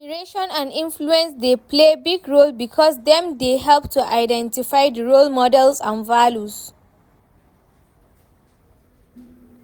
Admiration and influence dey play big role because dem dey help to identify di role models and values.